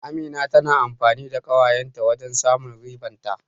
Amina tana amfani da ƙawayen ta wajen samun riban ta.